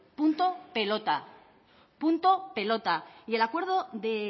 punto y pelota y en el acuerdo de